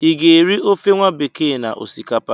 I ga-eri ofe nwabekee na osikapa?